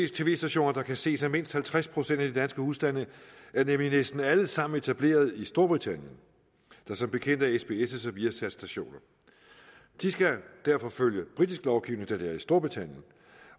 tv stationer der kan ses af mindst halvtreds procent af de danske husstande er nemlig næsten alle sammen etableret i storbritannien der som bekendt er sbs og viasatstationer de skal derfor følge britisk lovgivning da det er i storbritannien